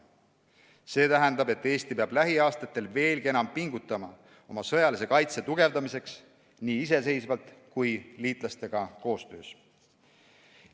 See tähendab, et Eesti peab lähiaastatel veelgi enam pingutama oma sõjalise kaitse tugevdamiseks nii iseseisvalt kui liitlastega koostöös.